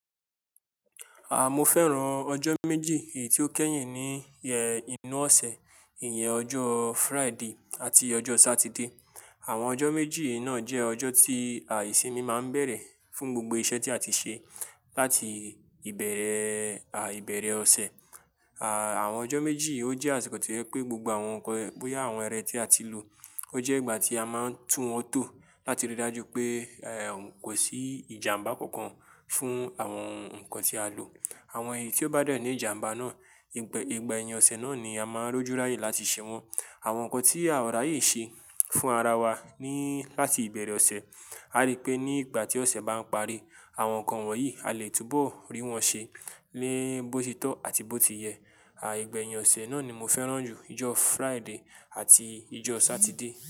Aah, mo fẹ́ràn ọjọ́ méjì èyí tí ó kẹ́yìn ní ẹ́ inú ọ̀sẹ̀, ìyẹn ọjọ́ Friday àti ọjọ́ Saturday. Àwọn ọjọ́ méjì yíì náà jẹ́ ọjọ́ tí à ìsimi máa ń bẹ̀rẹ̀ fún gbogbo iṣẹ́ tí a ti ṣe láti ìbẹ̀rẹ̀, à, ìbẹ̀rẹ̀ ọ̀sẹ̀. Àà, àwọn ọjọ́ méjì yíì ó jẹ́ àsìkò tí ẹ pé gbogbo àwọn nnkan, bóyá àwọn ẹrẹ̀ tí a ti lò, ó jẹ́ ìgbà tí a máa ń tún wọn tó láti rí i dájú pé, ẹ, kò sí ìjàmbá kankan fún àwọn nnkan tí a lò. Àwọn èyí tí ó bá dẹ ní ìjàmbá náà, ìgbẹ-- ìgbẹ́ yin ọ̀sẹ̀ náà ni a máa ń rújúráyè láti ṣe wọn. Àwọn nnkan tí à ráyè ṣe fún ara wa ní-- láti ìbẹ̀rẹ̀ ọ̀sẹ̀, a rí pé ní ìgbà tí ọ̀sẹ̀ bá ń parí, àwọn nnkan wọ̀nyí a lè túbọ̀ rí wọn ṣe ní bó ti tọ́ àti bó ti yẹ. À, ìgbẹ́ yin ọ̀sẹ̀ náà ni mo fẹ́ràn jù, ọjọ́ Friday àti ọjọ́ Saturday.